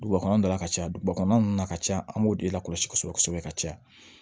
Duguba kɔnɔna la ka caya duguba kɔnɔna nunnu na ka caya an b'o de la kɔlɔsi kosɛbɛ kosɛbɛ ka caya